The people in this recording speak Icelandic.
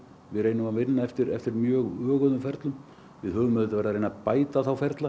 við reynum að vinna eftir eftir mjög öguðum ferlum við höfum auðvitað verið að reyna að bæta þá ferla